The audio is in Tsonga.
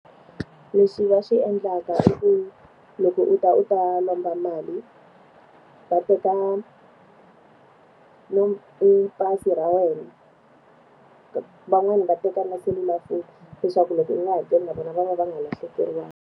Leswi va swi endlaka i ku, loko u ta u ta lomba mali va teka pasi ra wena. van'wani va teka na selulafoni leswaku loko u nga hakeli na vona va va va nga lahlekeriwangi.